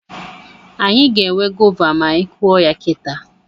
Anyị ga-enwe gova ma anyị kụọ ya kita